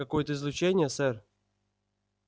какое-то излучение сэр